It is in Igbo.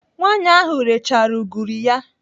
Nwaanyị ahụ rechara ugiri ya.